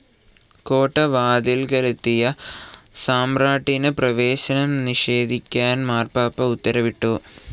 കോട്ടവാതിൽക്കലെത്തിയ സമ്രാട്ടിന് പ്രവേശനം നിഷേധിക്കാൻ മാർപ്പാപ്പ ഉത്തരവിട്ടു.